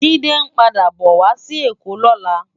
Jide npàdá bò wá si Ekó lòlá